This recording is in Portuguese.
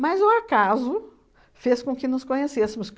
Mas o acaso fez com que nos conhecêssemos.